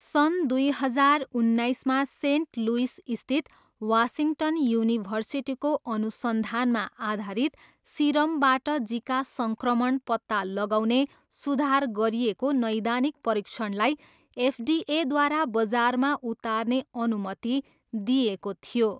सन् दुई हजार उन्नाइसमा सेन्ट लुइसस्थित वासिङ्टन युनिभर्सिटीको अनुसन्धानमा आधारित सिरमबाट जिका सङ्क्रमण पत्ता लगाउने सुधार गरिएको नैदानिक परीक्षणलाई एफडिएद्वारा बजारमा उतार्ने अनुमति दिइएको थियो।